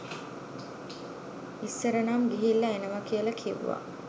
ඉස්සර නම් ගිහිල්ල එනව කියල කිව්ව